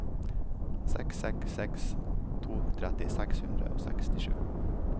seks seks seks to tretti seks hundre og sekstisju